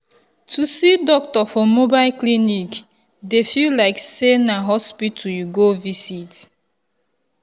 to see doctor for mobile clinic dey feel like say na hospital you go visit.